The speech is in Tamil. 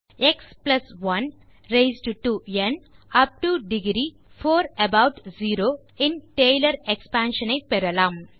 X 1 raised to n up to degree 4 about 0 in Taylor expansion ஐ பெறலாம்